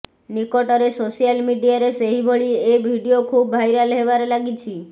ନିକଟରେ ସୋସିଆଲ ମିଡିଆରେ ସେହିଭଳି ଏ ଭିଡିଓ ଖୁବ୍ ଭାଇରାଲ ହେବାରେ ଲାଗିଛି